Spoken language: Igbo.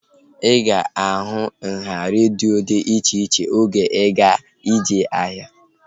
Ị ga-ahụ nhá redio dị iche iche oge ị ga-eje ahia